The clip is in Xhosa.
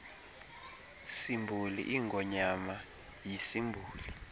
simboli ingonyama yisimboli